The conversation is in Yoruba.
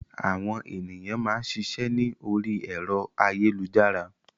Àwọn ènìyàn máa ń ṣiṣẹ́ ni ori ẹ̀rọ ayélujára.